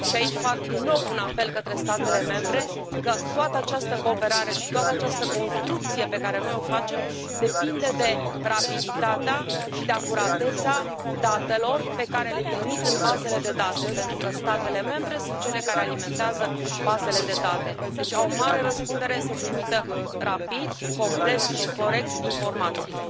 Aici fac din nou un apel către statele membre, că toată această cooperare și toată această construcție pe care noi o facem depinde de rapiditatea și de acuratețea datelor pe care le trimit în bazele de date, pentru că statele membre sunt cele care alimentează bazele de date, deci au o mare răspundere să trimită rapid, complet și corect informațiile.